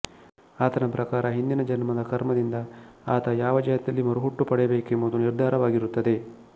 ಆತನ ಪ್ರಕಾರ ಹಿಂದಿನ ಜನ್ಮದ ಕರ್ಮದಿಂದ ಆತ ಯಾವ ಜಾತಿಯಲ್ಲಿ ಮರುಹುಟ್ಟು ಪಡೆಯಬೇಕೆಂಬುದು ನಿರ್ಧಾರವಾಗಿರುತ್ತದೆ